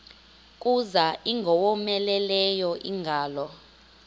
kuza ingowomeleleyo ingalo